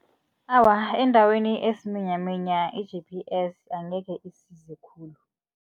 Awa, endaweni esiminyaminya i-G_P_S angekhe isize khulu.